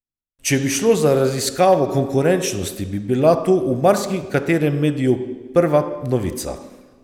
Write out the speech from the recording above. Če bi šlo za raziskavo konkurenčnosti, bi bila to v marsikaterem mediju prva novica.